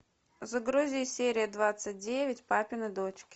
загрузи серия двадцать девять папины дочки